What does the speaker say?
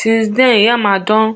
since den yamal don